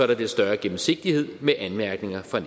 der bliver større gennemsigtighed med anmærkninger fra